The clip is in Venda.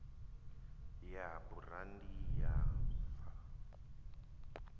ya burandi ya v o